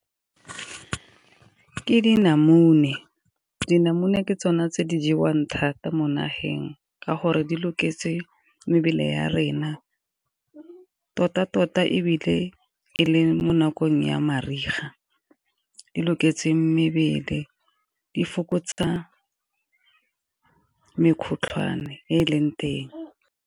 Ke dinamune, dinamune ke tsone tse di jewang thata mo nageng ka gore di loketse mebele ya rena. Tota-tota ebile e le mo nakong ya mariga di loketseng mebele di fokotsa mekgotlhwane e e leng teng.